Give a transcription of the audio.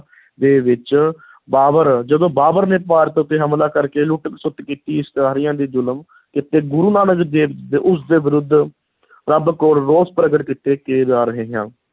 ਦੇ ਵਿੱਚ ਬਾਬਰ, ਜਦੋਂ ਬਾਬਰ ਨੇ ਭਾਰਤ ਉੱਤੇ ਹਮਲਾ ਕਰਕੇ ਲੁੱਟ-ਖਸੁੱਟ ਕੀਤੀ, ਇਸਤਰੀਆਂ 'ਤੇ ਜ਼ੁਲਮ ਕੀਤੇ, ਗੁਰੂ ਨਾਨਕ ਦੇਵ ਉਸ ਦੇ ਵਿਰੁੱਧ ਰੱਬ ਕੋਲ ਰੋਸ ਪ੍ਰਗਟ ਕੀਤੇ